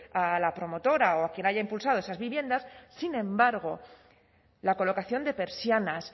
a la promotora o a quien haya impulsado esas viviendas sin embargo la colocación de persianas